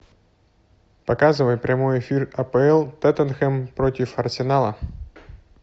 показывай прямой эфир апл тоттенхэм против арсенала